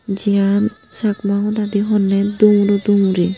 jiyan chakma hodadi honne dumuro dumuri.